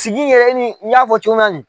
Sigi yɛrɛ ni y'a fɔ cogo minna ni.